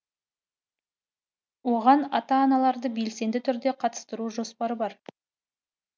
оған ата аналарды белсенді түрде қатыстыру жоспары бар